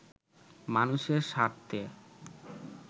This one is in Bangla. মানুষের স্বার্থে